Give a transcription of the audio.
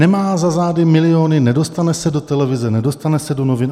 Nemá za zády miliony, nedostane se do televize, nedostane se do novin.